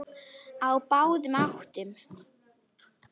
Á báðum áttum.